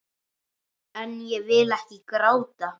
En ég vil ekki gráta.